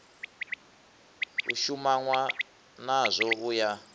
u shumanwa nazwo u ya